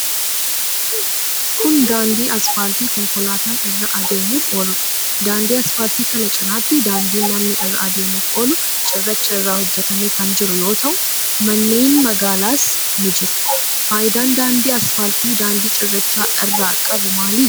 Kun, daandii asfaaltii konkolaataan irra adeemuuf ooludha. Daandii asfaaltii kana cinaatti daandiin namni irra adeemuuf oolu cirracha irraa hojjatame kan jiru yoo ta'u, manneen magaalaas ni jiru. Faayidaan daandiin asfaaltii daandii cirrachaa irra qabu maali?